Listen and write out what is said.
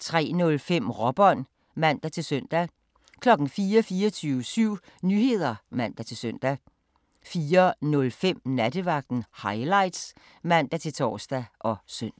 03:05: Råbånd (man-søn) 04:00: 24syv Nyheder (man-søn) 04:05: Nattevagten Highlights (man-tor og søn)